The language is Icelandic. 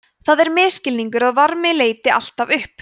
það er misskilningur að varmi leiti alltaf upp